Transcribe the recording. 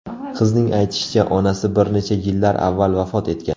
Qizning aytishicha, onasi bir necha yillar avval vafot etgan.